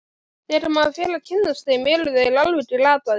Þegar maður fer að kynnast þeim eru þeir alveg glataðir.